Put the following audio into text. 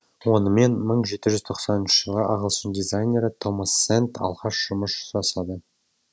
онымен мың жеті жүз тоқсаныншы жылы ағылшын дизайнері томас сэнд алғаш жұмыс жасады